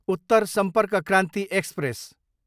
Uttar Sampark Kranti express